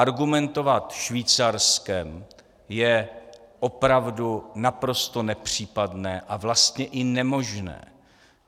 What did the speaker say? Argumentovat Švýcarskem je opravdu naprosto nepřípadné a vlastně i nemožné.